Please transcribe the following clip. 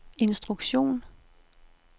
instruktion